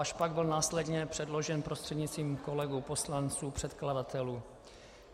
Až pak byl následně předložen prostřednictvím kolegů poslanců, předkladatelů.